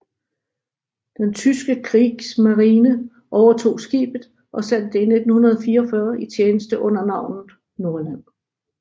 Den tyske Kriegsmarine overtog skibet og satte det i 1944 i tjeneste under navnet Nordland